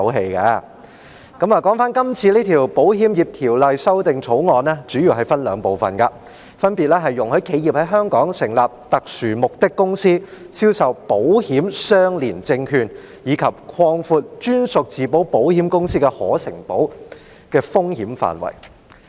說回今次這項《2020年保險業條例草案》，它主要分為兩部分：容許企業在香港成立特殊目的公司，銷售保險相連證券，以及擴闊在香港成立的專屬自保保險公司的可承保的風險範圍。